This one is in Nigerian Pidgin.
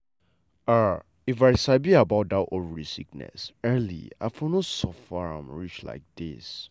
ah if i sabi about that ovary sickness early i for no suffer am reach like this.